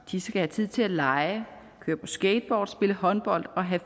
de skal have tid til at lege køre på skateboard spille håndbold og have